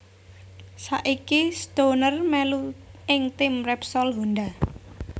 Saiki Stoner melu ing tim Repsol Honda